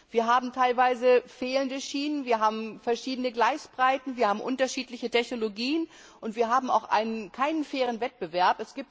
Wir haben teilweise fehlende Schienen, wir haben verschiedene Gleisbreiten, wir haben unterschiedliche Technologien und wir haben auch keinen fairen Wettbewerb.